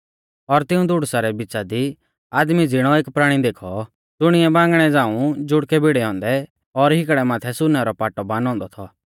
और तिऊं धुड़ुसा रै बिच़ा दी आदमी ज़िणौ एक प्राणी देखौ ज़ुणिऐ बांगणै झ़ांऊ जुड़कै भिड़ै औन्दै और हिकड़ै माथै सुनै रौ पाटौ बानौ औन्दौ थौ